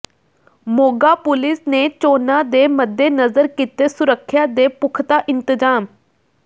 Moga police ਨੇ ਚੋਣਾਂ ਦੇ ਮੱਦੇਨਜ਼ਰ ਕੀਤੇ ਸੁਰੱਖਿਆ ਦੇ ਪੁਖਤਾ ਇੰਤਜ਼ਾਮ